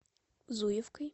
зуевкой